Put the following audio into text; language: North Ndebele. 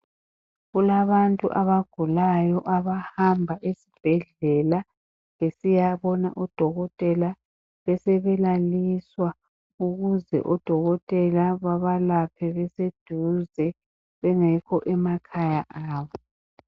Kulabantu abagulayo abahamba esibhedlela, besiyabona odokotela besebelaliswa, ukuze odokotela babalaphe beseduze bengekho emakhaya abo.